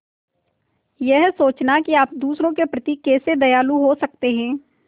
यह सोचना कि आप दूसरों के प्रति कैसे दयालु हो सकते हैं